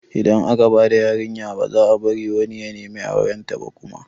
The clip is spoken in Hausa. Idan aka bada yarinya baza a bari wani ya nemi aurenta ba kuma